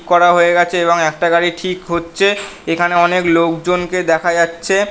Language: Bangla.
করা হয়ে গেছে এবং একটা গাড়ি ঠিক হচ্ছে। এখানে অনেক লোক জন কে দেখা যাচ্ছে।